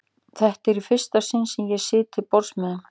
Þetta er í fyrsta sinn sem ég sit til borðs með þeim.